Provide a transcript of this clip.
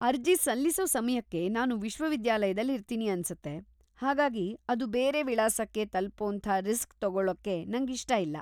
ಅರ್ಜಿ ಸಲ್ಲಿಸೋ ಸಮಯಕ್ಕೆ ನಾನು ವಿಶ್ವವಿದ್ಯಾಲಯದಲ್ಲಿ ಇರ್ತೀನಿ ಅನ್ಸತ್ತೆ, ಹಾಗಾಗಿ ಅದು ಬೇರೆ ವಿಳಾಸಕ್ಕೆ ತಲುಪೋಂಥ ರಿಸ್ಕ್ ತಗೊಳ್ಳೋಕೆ ನಂಗಿಷ್ಟ ಇಲ್ಲ.